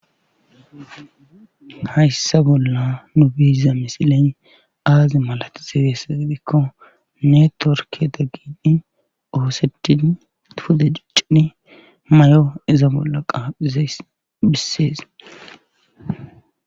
Hayssa bolla nu biiza misilen aazi malati segesa gidikko ne torke daggini ooseti pude iccini may7o iza bolla qaaphizays bissees.